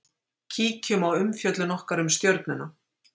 Kíkjum á umfjöllun okkar um Stjörnuna.